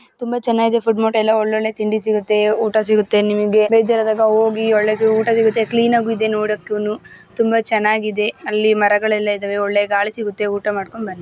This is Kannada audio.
ತುಂಬಾ ಚೆನ್ನಾಗಿದೆ ಫುಡ್ ಮಾರ್ಟ್ ಎಲ್ಲ ಒಳ್ಳೆ ಒಳ್ಳೆ ತಿಂಡಿ ಸಿಗುತ್ತೆ ಊಟ ಸಿಗುತ್ತೆ ನಿಮಗೆ ಬೇಜಾರಾದಾಗ ಹೋಗಿ ಒಳ್ಳೆ ಊಟ ಸಿಗುತ್ತೆ ಕ್ಲಿನಾಗಿಯು ಇದೆ ನೋಡಕೂನು ತುಂಬಾ ಚೆನ್ನಾಗಿದೆ ಅಲ್ಲಿ ಮರಗಳೆಲ್ಲ ಇದೆ ಒಳ್ಳೆ ಗಾಳಿ ಸಿಗುತ್ತೆ ಊಟ ಮಾಡ್ಕೊಂಡು ಬನ್ನಿ .